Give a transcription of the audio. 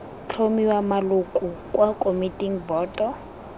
tlhomiwa maloko kwa komiting boto